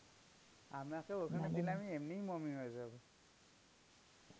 আমাকে ওখানে দিলে, আমি এমনি mummy হয়ে যাব.